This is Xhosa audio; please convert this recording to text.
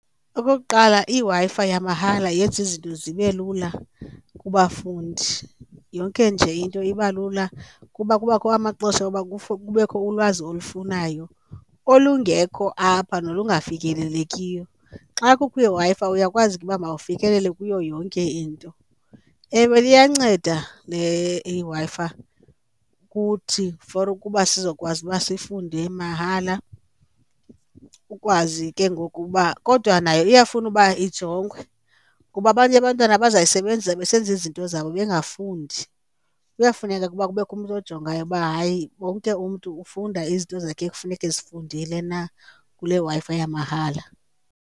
Okokuqala, iWi-Fi yamahala yenza izinto zibe lula kubafundi, yonke nje into iba lula kuba kubakho amaxesha oba kubekho ulwazi olufunayo olungekho apha nolungafikelelekiyo, xa kukho iWi-Fi uyakwazi ke ukuba mawufikelele kuyo yonke into. Ewe iyanceda le iWi-Fi kuthi for ukuba sizokwazi uba sifunde mahala, ukwazi ke ngoku uba, kodwa nayo iyafuna uba ijongwe kuba abanye abantwana bazayisebenzisa besenza izinto zabo ebengafundi. Kuyafuneka ukuba kubekho umntu ojongayo uba hayi wonke umntu ufunda izinto zakhe ekufuneka ezifundile na kule Wi-Fi yamahala.